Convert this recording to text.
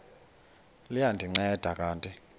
liya ndinceda kanti